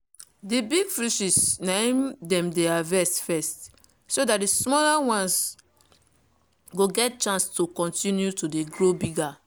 the big fishes na im dem dey harvest first so that the smaller ones gon get chance to continue to dey grow bigger.